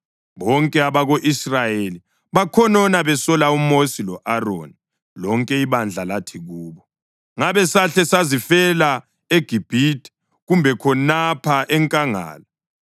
Bonke abako-Israyeli bakhonona besola uMosi lo-Aroni, lonke ibandla lathi kubo, “Ngabe sahle sazifela eGibhithe, kumbe khonapha enkangala!